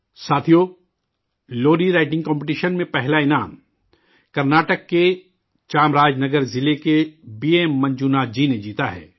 ساتھیو، لوری writing competition میں، پہلا انعام، کرناٹک کے چامراج نگر ضلع کے B M Manjunath ji نے جیتا ہے